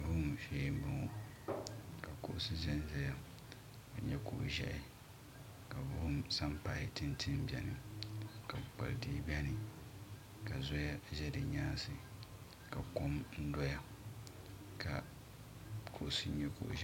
Vuhim shee n bɔŋo ka kuɣusi zan zaya ka nyɛ kuɣu ʒiɛhi ka vuhim sanpahi ti n ti bɛni ka kpukpali tihi bɛni ka zɔya ʒɛ di nyaansi ka kɔm dɔya ka kuɣusi nyɛ kuɣu ʒiɛhi.